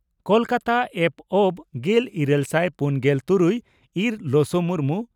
ᱠᱚᱞᱠᱟᱛᱟ ᱯᱹᱵᱹ ᱾ᱜᱮᱞ ᱤᱨᱟᱹᱞ ᱥᱟᱭ ᱯᱩᱱᱜᱮᱞ ᱛᱩᱨᱩᱭ ᱤᱨ ᱞᱚᱥᱚ ᱢᱩᱨᱢᱩ